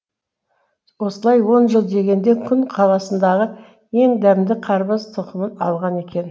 осылай он жыл дегенде күн қаласындағы ең дәмді қарбыз тұқымын алған екен